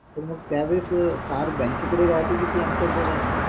तर मंग त्यावेळेस कार bank कडे राहते कि ती आमच्या कडे राहते